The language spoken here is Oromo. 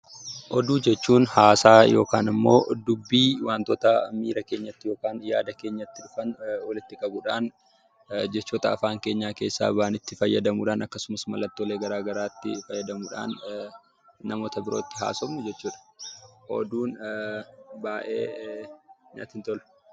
Oduu jechuun haasaa yookiin immoo dubbii waantota miira keenyatti yookaan yaada keenyatti dhufan walitti qabuudhaan jechoota afaan keenya keessaa bahanitti fayyadamuudhaan akkasumas mallattoolee gara garaatti fayyadamuudhaan namoota birootti haasofnu jechuudha. Oduun baay'ee natti hin tolu.